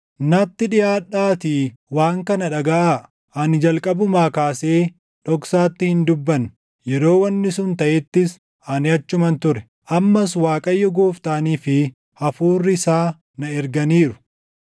“Natti dhiʼaadhaatii waan kana dhagaʼaa: “Ani jalqabumaa kaasee dhoksaatti hin dubbanne; yeroo wanni sun taʼettis ani achuman ture.” Ammas Waaqayyo Gooftaanii fi Hafuurri isaa na erganiiru.